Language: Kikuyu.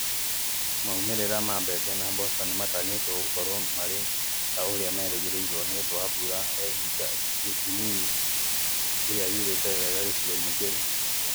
Maumĩrĩra ma mbembe na mboco nĩmatanyĩtwo gũkorwo marĩ ta ũrĩa merĩgagĩrĩrwo nĩundũ wa mbura ya ihinda inini ĩrĩa yurĩte wega gĩcigo-inĩ kĩu